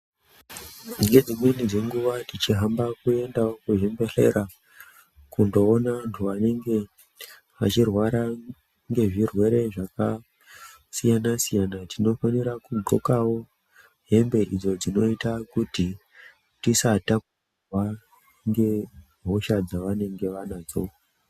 Ngedzimweni dzenguwa o teihamba kuendawo kuzvibhehlera kundoonawo vandu vanenge veirwara ngezvirwere zwakasiyana siyana tinofanirwa kudhlxokawo hembe idzo dzinota kuti tisaturwa ngehosha dzavanenge vanadzo.